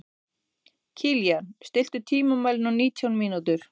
Kilían, stilltu tímamælinn á nítján mínútur.